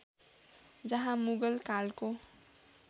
जहाँ मुगल कालको